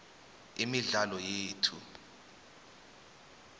imidlalo yethu